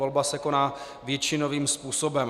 Volba se koná většinovým způsobem.